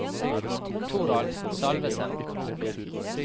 Toralf Salvesen